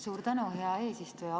Suur tänu, hea eesistuja!